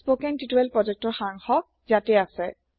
spoken tutorial প্ৰোজেক্টৰ সাৰাংশ ইয়াতে আছে